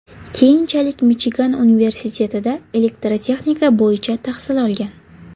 Keyinchalik Michigan universitetida elektrotexnika bo‘yicha tahsil olgan.